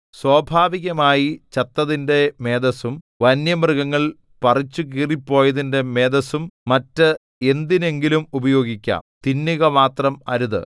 സ്വാഭാവികമായി ചത്തതിന്റെ മേദസ്സും വന്യമൃഗങ്ങൾ പറിച്ചുകീറിപ്പോയതിന്റെ മേദസ്സും മറ്റ് എന്തിനെങ്കിലും ഉപയോഗിക്കാം തിന്നുക മാത്രം അരുത്